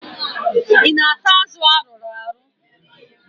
I na-ata azụ arụrụ arụ?